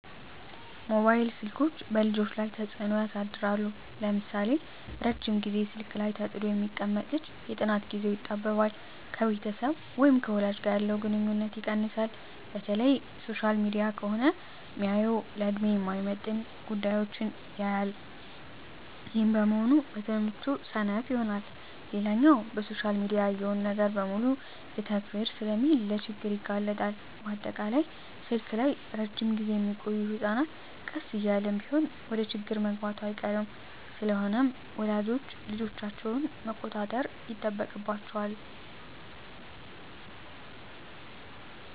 መባይል ስልኮች በልጆች ላይ ተጽኖ ያሳድራል ለምሳሌ:- ረጅም ግዜ ስልክ ላይ ተጥዶ የሚቀመጥ ልጅ የጥናት ግዜው ይጣበባል፣ ከቤተሰብ ወይም ከወላጅ ጋር ያለው ግንኙነት ይቀንሳል፣ በተለይ ሶሻል ሚዲያ ከሆነ ሚያየው ለድሜው የማይመጥን ጉዳዮች ያያል ይህም በመሆኑ በትምህርቱ ሰነፍ ይሆናል። ሌላኛው በሶሻል ሚዲያ ያየውን ነገር በሙሉ ልተግብር ስለሚል ለችግር ይጋለጣል፣ በአጠቃላይ ስልክ ላይ እረጅም ግዜ ሚቆዮ ህጸናት ቀስ እያለም ቢሆን ወደችግር መግባቱ አይቀርም። ስለሆነም ወላጆች ልጆቻቸውን መቆጣጠር ይጠበቅባቸዋል